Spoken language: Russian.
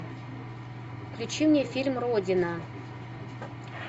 включи мне фильм родина